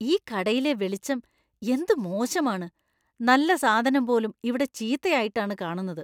ഈ കടയിലെ വെളിച്ചം എന്ത് മോശമാണ്; നല്ല സാധനം പോലും ഇവിടെ ചീത്തയായിട്ടാണ് കാണുന്നത്.